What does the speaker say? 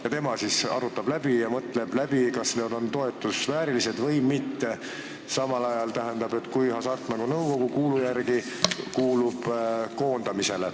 Kas tema arutab ja mõtleb läbi, kas need on toetuse väärilised või mitte, samal ajal kui Hasartmängumaksu Nõukogu kuulu järgi koondatakse?